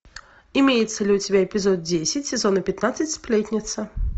имеется ли у тебя эпизод десять сезона пятнадцать сплетница